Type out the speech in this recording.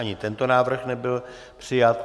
Ani tento návrh nebyl přijat.